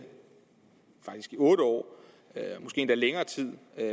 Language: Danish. i otte år måske endda længere tid